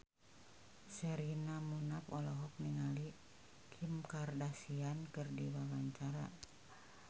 Sherina Munaf olohok ningali Kim Kardashian keur diwawancara